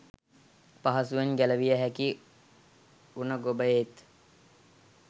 පහසුවෙන් ගැලවිය හැකි උණ ගොබයේත්